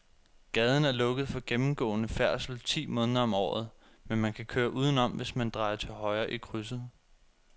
Gaden er lukket for gennemgående færdsel ti måneder om året, men man kan køre udenom, hvis man drejer til højre i krydset.